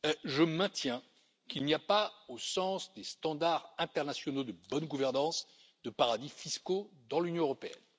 Je maintiens qu'il n'y a pas, au sens des standards internationaux de bonne gouvernance, de paradis fiscaux dans l'Union européenne.